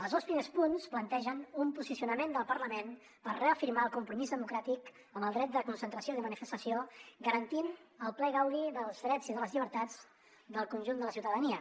els dos primers punts plantegen un posicionament del parlament per reafirmar el compromís democràtic amb el dret de concentració i de manifestació garantint el ple gaudi dels drets i de les llibertats del conjunt de la ciutadania